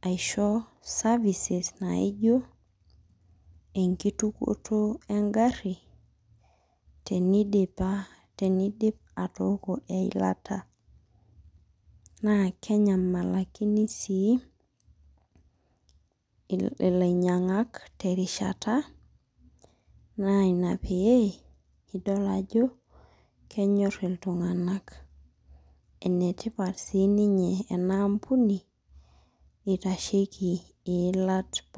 aisho services naijo enkitukoto egarri, tenidipa tenidip atooko eilata. Na kenyamalakini sii, ilainyang'ak terishata, na ina pee idol ajo, kenyor iltung'anak. Enetipat si ninye enaampuni, itasheki iilat pookin.